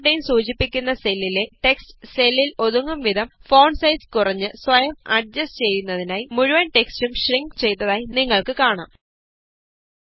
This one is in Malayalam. ബ്14 സൂചിപ്പിക്കുന്ന സെല്ലിലെ ടെക്സ്റ്റ് സെല്ലില് ഒതുങ്ങും വിധം ഫോണ്ട് സൈസ് കുറഞ്ഞ് സ്വയംഅഡ്ജസ്റ്റ് ചെയ്യുന്നതിനായി മുഴുവന് ടെക്സ്റ്റും ഷ്രിങ്ക് ചെയ്തതായി നിങ്ങള്ക്ക് കാണാം